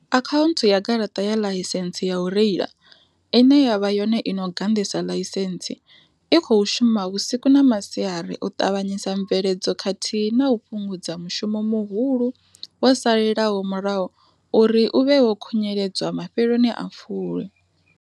Akhaunthu ya garaṱa ya ḽaisentsi ya u reila, ine ya vha yone i no ganḓisa ḽaisentsi, i khou shuma vhusiku na masiari u ṱavhanyisa mveledzo khathihi na u fhungudza mushumo muhulu wo salelaho murahu uri u vhe wo khunyeledzwa mafheloni a fulwi.